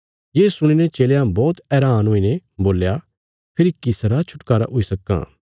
ये सुणीने चेलयां बौहत हैरान हुईने बोल्या फेरी किसरा छुटकारा हुई सक्कां